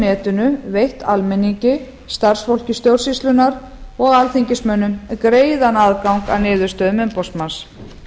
netinu veitt almenningi starfsfólki stjórnsýslunnar og alþingismönnum greiðan aðgang að niðurstöðum umboðsmanns þá